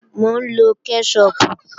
Mò ń lọ kẹ́ṣọpù